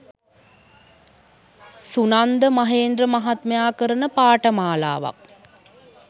සුනන්ද මහේන්ද්‍ර මහත්මයා කරන පාඨමාලාවක්